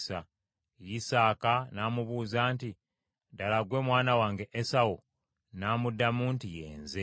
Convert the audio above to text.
Isaaka n’amubuuza nti, “Ddala gwe mwana wange Esawu?” N’amuddamu nti, “Ye nze.”